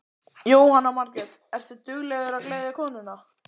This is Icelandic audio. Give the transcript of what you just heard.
Jóhanna Margrét: Ertu duglegur að gleðja konuna?